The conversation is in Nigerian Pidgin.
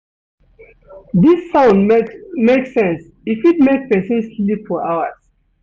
Dis sound make sense e fit make pesin sleep for hours.